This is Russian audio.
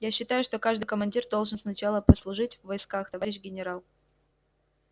я считаю что каждый командир должен сначала послужить в войсках товарищ генерал